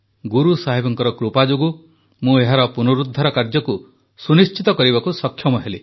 ଗୁରୁସାହେବଙ୍କର କୃପା ଯୋଗୁଁ ମୁଁ ଏହାର ପୁନରୁଦ୍ଧାର କାର୍ଯ୍ୟକୁ ସୁନିଶ୍ଚିତ କରିବାକୁ ସକ୍ଷମ ହେଲି